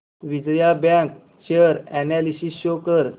Vijaya bank share analysis show कर